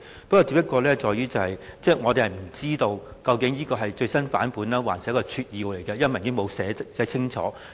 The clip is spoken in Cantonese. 不過，因為文件沒有寫清楚，我們不知道究竟那是最新版本還是撮要，所以才有這些憂慮。